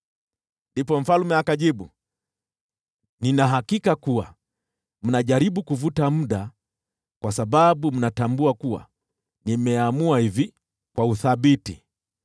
Ndipo mfalme akajibu, “Nina hakika kuwa mnajaribu kupata muda zaidi, kwa sababu mnatambua kuwa nimeamua hivi kwa uthabiti: